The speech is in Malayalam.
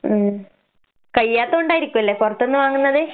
ഉം കഴിയാത്ത കൊണ്ടായിരിക്കൂല്ലേ പൊറത്ത്ന്ന് വാങ്ങുന്നത്?